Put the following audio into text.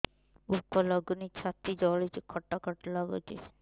ଭୁକ ଲାଗୁନି ଛାତି ଜଳୁଛି ଖଟା ଖଟା ଲାଗୁଛି